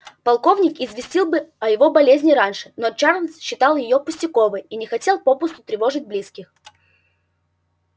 полковник известил бы о его болезни раньше но чарлз считал её пустяковой и не хотел попусту тревожить близких